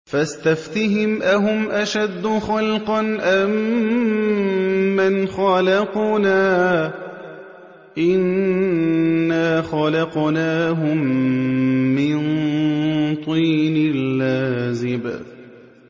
فَاسْتَفْتِهِمْ أَهُمْ أَشَدُّ خَلْقًا أَم مَّنْ خَلَقْنَا ۚ إِنَّا خَلَقْنَاهُم مِّن طِينٍ لَّازِبٍ